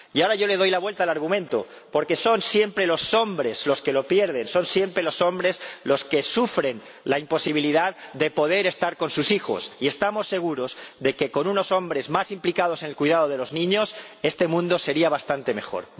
Y ahora yo le doy la vuelta al argumento porque son siempre los hombres los que pierden, son siempre los hombres los que sufren la imposibilidad de estar con sus hijos, y estamos seguros de que con unos hombres más implicados en el cuidado de los niños este mundo sería bastante mejor.